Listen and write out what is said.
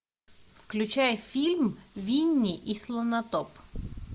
включай фильм винни и слонотоп